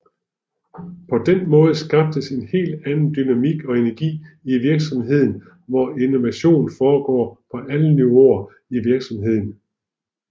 På den måde skabes en helt anden dynamik og energi i virksomheden hvor innovation foregår på alle niveauer i virksomheden